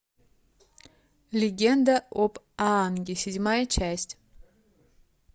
легенда об аанге седьмая часть